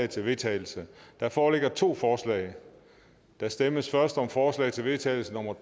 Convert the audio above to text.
til vedtagelse der foreligger to forslag der stemmes først om forslag til vedtagelse nummer